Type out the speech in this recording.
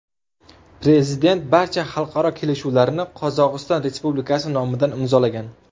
Prezident barcha xalqaro kelishuvlarni Qozog‘iston Respublikasi nomidan imzolagan.